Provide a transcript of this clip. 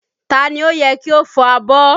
Ta ni ó yẹ kí ó fọ abọ́?